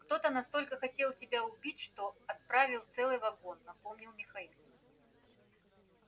кто-то настолько хотел тебя убить что отравил целый вагон напомнил михаил